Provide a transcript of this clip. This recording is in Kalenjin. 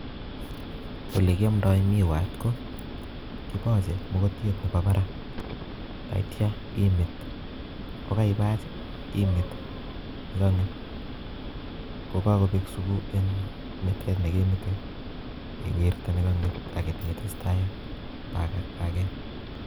Ole kiomdoo miwaat ko kibole mokotyee Nebo baraak, yeityo imiit, ye keibach I imit, yekeimiit I kokokobek sutek en mitet nekemite iwirtee nekonget ak iteitestai ak bakeet